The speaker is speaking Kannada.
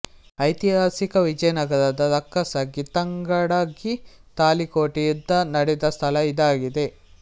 ಐತಿಹಾಸಿಕ ವಿಜಯನಗರದ ರಕ್ಕಸಗಿತಂಗಡಗಿ ತಾಳಿಕೋಟೆ ಯುದ್ಧ ನಡೆದ ಸ್ಥಳ ಇದಾಗಿದೆ